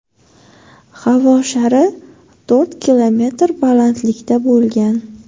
Havo shari to‘rt kilometr balandlikda bo‘lgan.